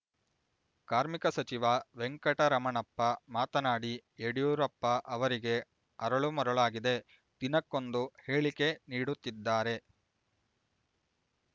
ಕಾರ್ಮಿಕ ಸಚಿವ ವೆಂಕಟರಮಣಪ್ಪ ಮಾತನಾಡಿ ಯಡಿಯೂರಪ್ಪ ಅವರಿಗೆ ಅರಳು ಮರುಳಾಗಿದೆ ದಿನಕ್ಕೊಂದು ಹೇಳಿಕೆ ನೀಡುತ್ತಿದ್ದಾರೆ